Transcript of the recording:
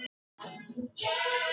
Hvar mun ég spila á næsta tímabili?